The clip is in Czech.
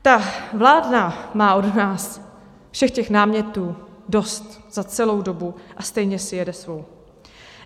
Ta vláda má od nás všech těch námětů dost za celou dobu, a stejně si jede svou.